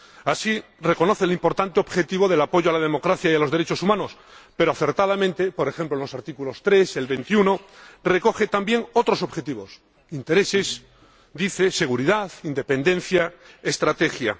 Así, reconoce el importante objetivo del apoyo a la democracia y a los derechos humanos pero, acertadamente, por ejemplo, en los artículos 3 y 21, recoge también otros objetivos intereses, seguridad, independencia, estrategia.